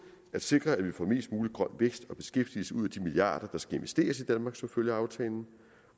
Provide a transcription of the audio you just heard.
at sikre at vi får mest mulig grøn vækst og beskæftigelse ud af de milliarder der skal investeres i danmark som følge af aftalen